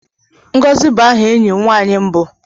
ngozi bụ aha enyi m nwanyị mbụ